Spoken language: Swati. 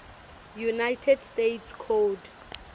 united states code